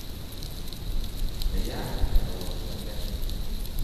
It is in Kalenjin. Kayayak ne o sen'ge?